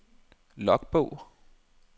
logbog